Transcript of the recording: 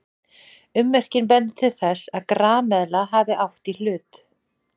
Ummerkin benda til þess að grameðla hafi átt í hlut.